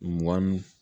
Mɔmuso